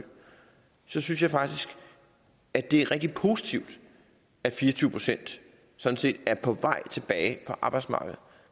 synes jeg faktisk at det er rigtig positivt at fire og tyve procent sådan set er på vej tilbage på arbejdsmarkedet